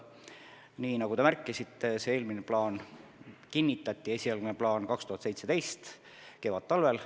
Nii nagu te märkisite, eelmine esialgne plaan kinnitati 2017. aasta kevadtalvel.